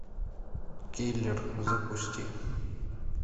киллер запусти